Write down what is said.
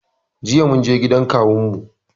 Jiya munje gidan kawun mu